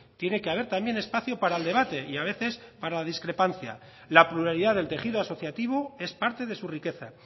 tiene que haber también espacio para el debate y a veces para la discrepancia la pluralidad del tejido asociativo es parte de su riqueza